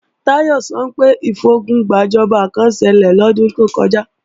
Táyọ̀ sọ pé ìfogun gbàjọba kán ṣẹlẹ̀ lọ́dún tó kọjá